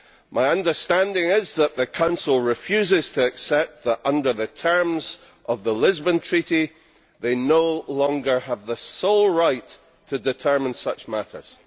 My understanding is that the Council refuses to accept that, under the terms of the Lisbon Treaty, it no longer has the sole right to determine such matters.